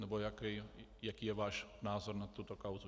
Nebo jaký je váš názor na tuto kauzu?